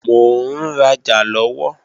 Mò ń rajà lọ́wọ́